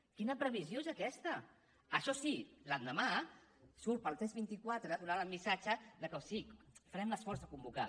quina previsió és aquesta això sí l’endemà surt pel tres vint quatre donant el missatge que sí farem l’esforç de convocar